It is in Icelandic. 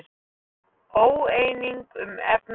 Óeining um efnahagsaðgerðir